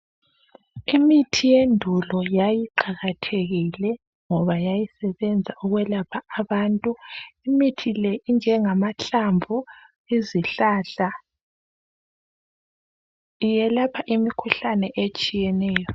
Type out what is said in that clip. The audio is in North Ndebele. Imithi yendulo yayiqakathekile ngoba yayisebenza ukwelapha abantu. Imithi le ngamahlamvu ezihlahla yelapha imikhuhlane etshiyeneyo.